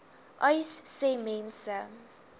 uys sê mense